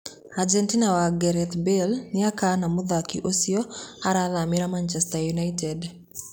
Ajenti wa Gareth Bale nĩakana mũthaki ũcĩo arathamĩra Machester united.